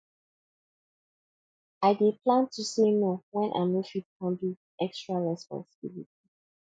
i dey learn to say no when i no fit handle extra responsibilities